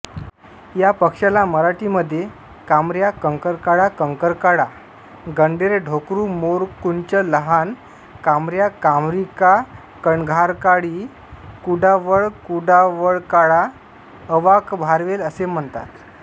या पक्षाला मराठीमध्ये कामऱ्या कंकरकाळा कंकरकाळा गंडेरढोकरूमोरकुंचलहान कामऱ्याकामरीकाकणघारकाळी कुडावळकुडवळकाळा अवाकभारवेल असे म्हणतात